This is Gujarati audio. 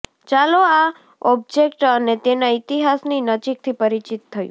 ચાલો આ ઓબ્જેક્ટ અને તેના ઇતિહાસની નજીકથી પરિચિત થવું